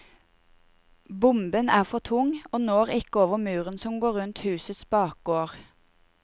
Bomben er for tung og når ikke over muren som går rundt husets bakgård.